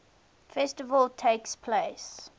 festival takes place